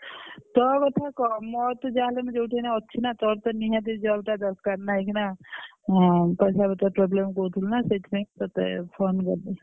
ତୋ କଥା କହ ମୋର ତ ଯାହା ହେଲେ ଯୋଉଠି ଯାହା ଅଛି ନା ତୋର ତ ନିହାତି job ଟା ଦରକାର ନା ଏଇଖିନା ହଁ ପଇସା ପତର problem କହୁଥୁଲୁ ନା ସେଇଥିପାଇଁ ତତେ phone କଲି।